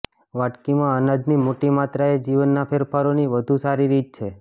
વાટકીમાં અનાજની મોટી માત્રા એ જીવનના ફેરફારોની વધુ સારી રીત છે